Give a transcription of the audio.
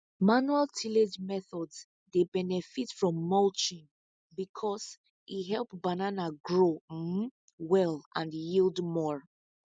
manual tillage methods dey benefit from mulching because e help banana grow um well and yield more